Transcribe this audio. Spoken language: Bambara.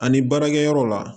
Ani baarakɛ yɔrɔ la